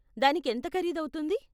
దానికి ఎంత ఖరీదు అవుతుంది?